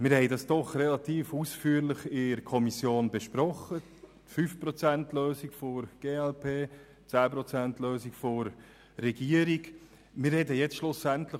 Allerdings haben wir die 5-ProzentLösung der glp und die 10-Prozent-Lösung der Regierung doch relativ ausführlich in der Kommission besprochen.